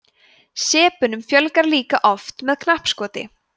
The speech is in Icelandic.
sepunum fjölgar líka oft með knappskoti